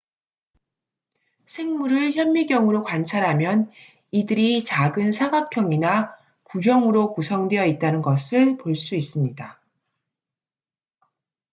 생물을 현미경으로 관찰하면 이들이 작은 사각형이나 구형으로 구성되어 있다는 것을 볼 수 있습니다